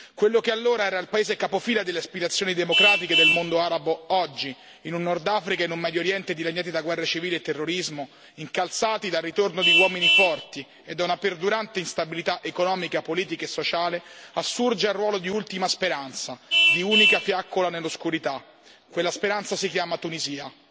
Quello che allora era il paese capofila delle aspirazioni democratiche del mondo arabo, oggi, in un Nord Africa e un Medio Oriente dilaniati da guerre civili e terrorismo, incalzati dal ritorno di uomini forti e da una perdurante instabilità economica, politica e sociale, assurge al ruolo di ultima speranza, di unica fiaccola nell'oscurità quella speranza si chiama Tunisia.